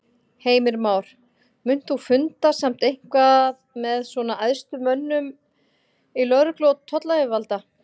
Heimir Már: Munt þú funda samt eitthvað með svona æðstu mönnum í lögreglu og tollayfirvalda?